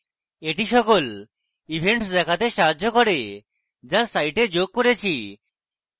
এটি সকল events দেখতে সাহায্য করে যা site যোগ করেছি